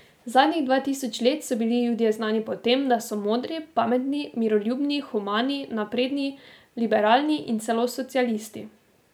Zadnjih dva tisoč let so bili Judje znani po tem, da so modri, pametni, miroljubni, humani, napredni, liberalni in celo socialisti.